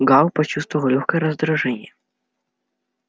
гаал почувствовал лёгкое раздражение